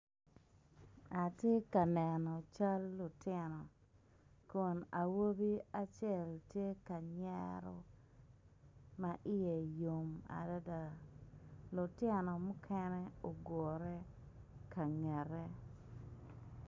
Atye ka neno cal lutino kun awobi acel tye ka nyero ma iye yom adada lutino mukene ogure ka ngete.